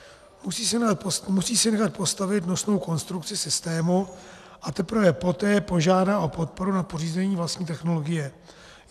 Musí si nechat postavit nosnou konstrukci systému a teprve potom požádá o podporu na pořízení vlastní technologie.